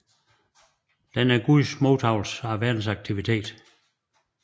Den er guds modtagelse af verdens aktivitet